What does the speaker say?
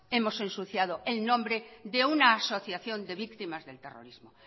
hemos ensuciado el nombre de una asociación de víctimas del terrorismo